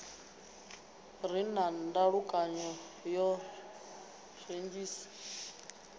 re na ndalukanyo o redzhisi